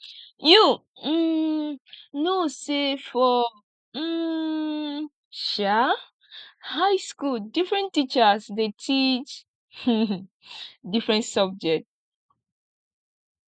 you um know sey for um um high skool differen teachers dey teach different subject